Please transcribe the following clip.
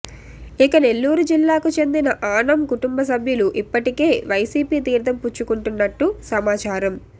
ఇక నెల్లూరు జిల్లాకు చెందిన ఆనం కుటుంబ సభ్యులు ఇప్పటికే వైసీపీ తీర్దం పుచ్చుకుంటున్నట్టు సమాచారం